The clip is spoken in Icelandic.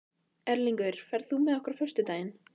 Erlingur, ferð þú með okkur á föstudaginn?